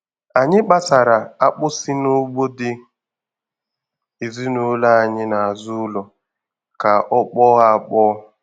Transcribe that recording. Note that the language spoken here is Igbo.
Anyị kpasara akpụ si n'ugbo dị ezinụlọ anyị n'azụ ụlọ ka ọ kpọọ akpọọ.